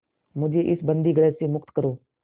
मुझे इस बंदीगृह से मुक्त करो